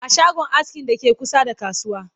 a shagon askin da ke kusa da kasuwa